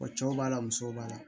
cɛw b'a la musow b'a la